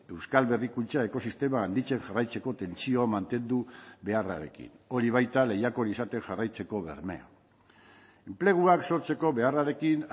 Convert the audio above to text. euskal berrikuntza ekosistema handitzen jarraitzeko tentsioa mantendu beharrarekin hori baita lehiakor izaten jarraitzeko bermea enpleguak sortzeko beharrarekin